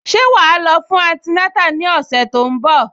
Ṣé wà á lọ fún antinátà ní ọ̀sẹ̀ tó ń bọ̀?